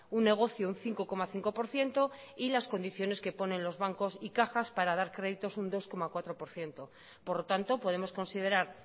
un negocio un cinco coma cinco por ciento y las condiciones que ponen los bancos y cajas para dar créditos un dos coma cuatro por ciento por lo tanto podemos considerar